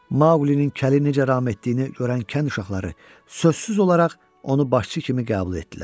Maqlinin kəli necə ram etdiyini görən kənd uşaqları sözsüz olaraq onu başçı kimi qəbul etdilər.